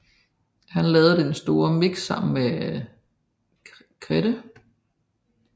Han lavede Det Store mix sammen med Krede